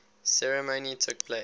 ceremony took place